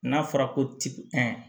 N'a fɔra ko ti ɛ